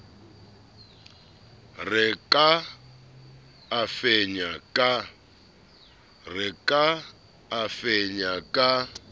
re ka a fenya ka